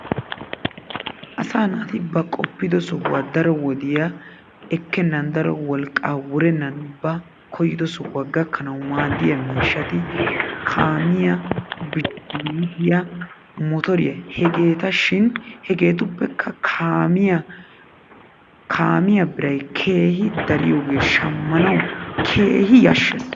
Asaa naati ba qooppido sohuwaa daro wodiyaa ekkenan ba wolqqaa wurennan ba koyyido sohuwaa gaakkanwu maadiyaa miishshati kaamiyaa bishikeletiyaa motoriyaa. hegeeta shin hegetupekka kaamiyaa kaamiyaa birray keehindariyoogee shaammanwu keehi yashshees.